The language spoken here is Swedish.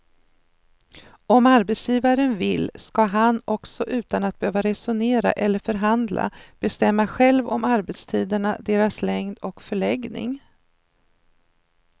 Om arbetsgivaren vill ska han också utan att behöva resonera eller förhandla bestämma själv om arbetstiderna, deras längd och förläggning.